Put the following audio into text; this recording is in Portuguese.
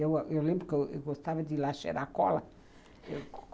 Eu lembro que eu gostava de ir lá cheirar cola